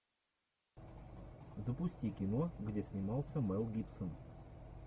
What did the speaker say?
запусти кино где снимался мэл гибсон